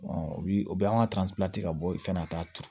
o bi o bɛ an ka ka bɔ i fɛn na a t'a turu